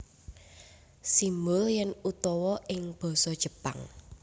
Simbol yen utawa ing basa Jepang